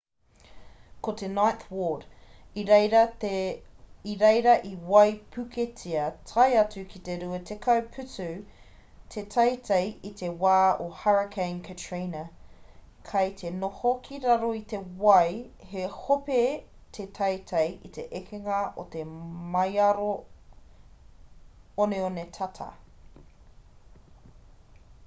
ko te ninth ward i reira i waipuketia tae atu ki te 20 putu te teitei i te wā o hurricane katrina kei te noho ki raro i te wai he hope te teitei i te ekenga o te maioro oneone tata